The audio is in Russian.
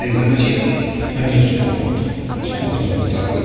и замочить они вспухнут вспухнут вот так вот